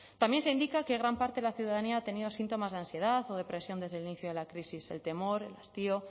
también se indica que gran parte de la ciudadanía ha tenido síntomas de ansiedad o depresión desde el inicio de la crisis el temor el hastío